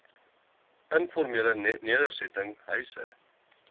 informele nedersetting huise